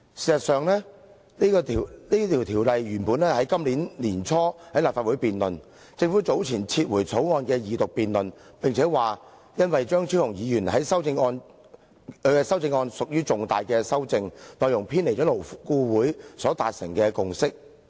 事實上，《條例草案》原訂於今年年初在立法會恢復二讀辯論，政府早前撤回《條例草案》，並且表示那是因為張超雄議員的修正案屬於重大修訂，內容偏離勞顧會所達成的共識。